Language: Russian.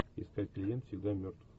искать клиент всегда мертв